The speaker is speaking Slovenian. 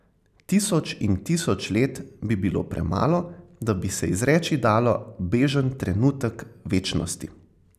Tisoč in tisoč let bi bilo premalo, da bi se izreči dalo, bežen trenutek večnosti...